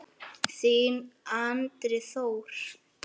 Þinn Andri Þór.